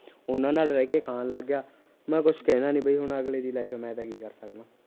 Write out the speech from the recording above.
ਉਹਨਾਂ ਨਾਲ ਰਹਿ ਕੇ ਖਾਣ ਲੱਗ ਗਿਆ, ਮੈ ਕੁਛ ਕਹਿਣਾ ਨਹੀਂ ਬਈ ਹੁਣ ਅਗਲੇ ਦੀ life ਏ ਮੈ ਤਾਂ ਕੀ ਕਰ ਸਕਦਾਂ